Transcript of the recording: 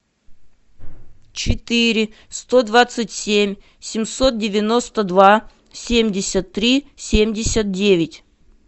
четыре сто двадцать семь семьсот девяносто два семьдесят три семьдесят девять